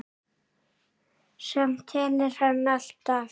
Samt telur hann alltaf.